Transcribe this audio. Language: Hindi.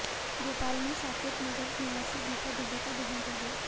भोपाल में साकेत नगर निवासी गीता दुबे का देहांत हो गया